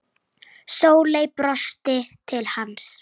Sóley brosti til hans.